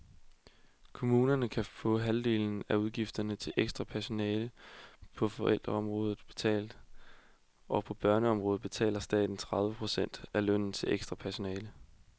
Kommunerne kan få halvdelen af udgifterne til ekstra personale på ældreområdet betalt, og på børneområdet betaler staten tredive procent af lønnen til ekstra personale.